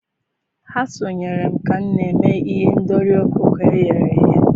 ha sonyeere m ka m na-eme ihendori ọkụkọ e ghere eghe.